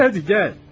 Gəl indi, gəl.